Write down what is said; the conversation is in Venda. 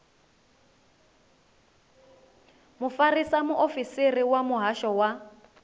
mufarisa muofisiri wa muhasho wa